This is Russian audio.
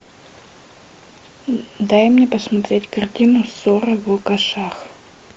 дай мне посмотреть картину ссора в лукашах